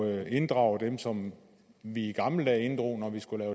at inddrage dem som vi i gamle dage inddrog når vi skulle